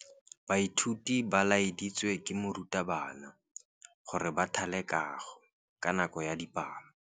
Baithuti ba laeditswe ke morutabana gore ba thale kagô ka nako ya dipalô.